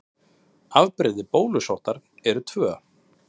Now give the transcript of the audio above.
Afbrigði bólusóttar eru tvö.